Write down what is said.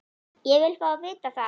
Ég vil fá að vita það!